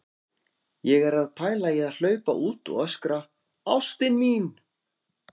Ég er að pæla í að hlaupa út og öskra: ÁSTIN MÍN!